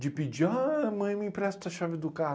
De pedir, ah, mãe, me empresta a chave do carro.